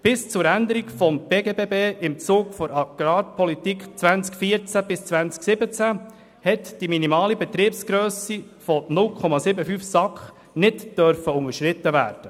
Bis zur Änderung des BGBB im Zuge der «Agrarpolitik 2014–2017 (AP 14–17)» durfte die minimale Betriebsgrösse von 0,75 SAK nicht unterschritten werden.